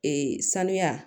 Ee sanuya